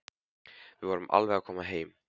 Við förum alveg að koma heim.